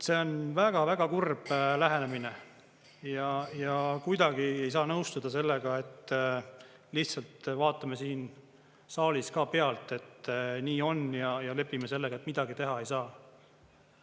See on väga-väga kurb lähenemine ja kuidagi ei saa nõustuda sellega, et lihtsalt vaatame siin saalis ka pealt, et nii on, ja lepime sellega, et midagi teha ei saa.